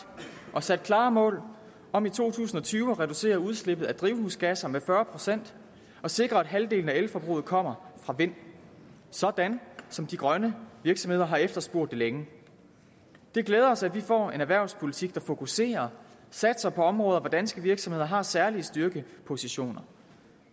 og sat klare mål om i to tusind og tyve at reducere udslippet af drivhusgasser med fyrre procent og sikre at halvdelen af elforbruget kommer fra vind sådan som de grønne virksomheder har efterspurgt det længe det glæder os at vi får en erhvervspolitik der fokuserer og satser på områder hvor danske virksomheder har særlige styrkepositioner